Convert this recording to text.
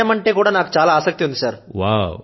వ్రాయడం అంటే నాకు చాలా ఆసక్తి ఉంది